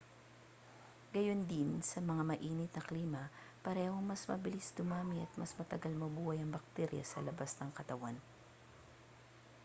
gayundin sa mas maiinit na klima parehong mas mabilis dumami at mas matagal mabuhay ang bakterya sa labas ng katawan